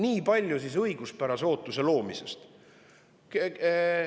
Nii palju siis õiguspärase ootuse loomisest.